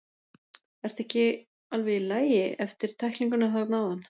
Ertu ekki alveg í lagi, eftir tæklinguna þarna áðan?